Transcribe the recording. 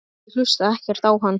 Ég hlusta ekkert á hann.